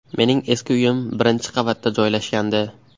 Mening eski uyim birinchi qavatda joylashgandi.